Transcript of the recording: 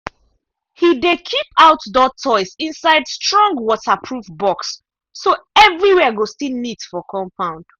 he dey keep outdoor toys inside strong waterproof box so everywhere go still neat for compound.